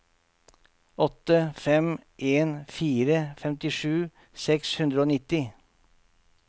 åtte fem en fire femtisju seks hundre og nitti